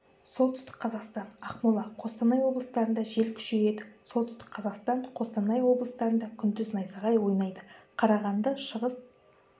солтүстік қазақстан ақмола қостанай облыстарында жел күшейеді солтүстік қазақстан қостанай облыстарында күндіз найзағай ойнайды қарағанды шығыс